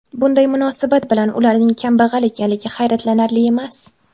Bunday munosabat bilan ularning kambag‘al ekanligi hayratlanarli emas.